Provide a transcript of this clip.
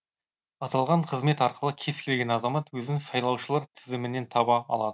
аталған қызмет арқылы кез келген азамат өзін сайлаушылар тізімінен таба алады